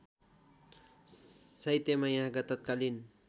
साहित्यमा यहाँका तत्कालीन